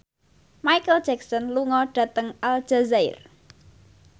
Micheal Jackson lunga dhateng Aljazair